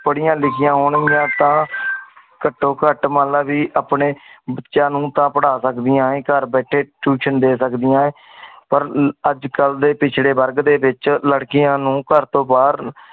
ਪੜਿਆ ਲਿਖਿਆ ਹੁਣ ਗਿਆਂ ਟੀ ਤਾਂ ਘਟੋ ਘਟ ਮਨਲੇ ਵੀ ਆਪਣੇ ਬੱਚਿਆਂ ਨੂੰ ਤਾ ਪਢ਼ਾ ਸਕਦੀਆਂ ਹੈ ਘਰ ਬੈਠੇ tuition ਦੇ ਸਕਦੀਆਂ ਹੈ ਪਰ ਅਜਕਲ ਦੇ ਪਿਛੜੇ ਵਰਗ ਦੇ ਵਿਚ ਲੜਕੀਆਂ ਨੂੰ ਘਰ ਤੋਂ ਬਾਹਰ